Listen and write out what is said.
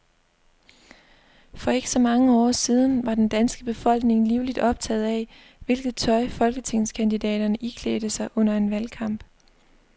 For ikke så mange år siden var den danske befolkning livligt optaget af, hvilket tøj folketingskandidaterne iklædte sig under en valgkamp.